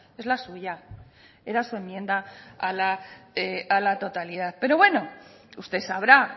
es la suya era su enmienda a la totalidad pero bueno usted sabrá